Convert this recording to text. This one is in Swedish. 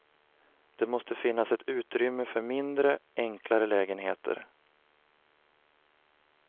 Det måste finnas ett utrymme för mindre, enklare lägenheter.